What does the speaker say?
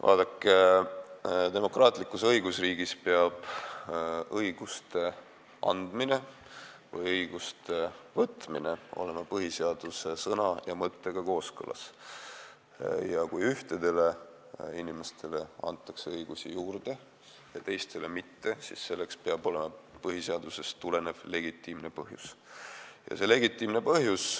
Vaadake, demokraatlikus õigusriigis peab õiguste andmine või õiguste võtmine olema põhiseaduse sõna ja mõttega kooskõlas: kui ühtedele inimestele antakse õigusi juurde ja teistele mitte, siis selleks peab olema põhiseadusest tulenev legitiimne põhjus.